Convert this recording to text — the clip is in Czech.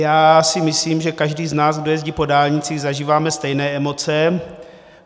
Já si myslím, že každý z nás, kdo jezdí po dálnici, zažíváme stejné emoce.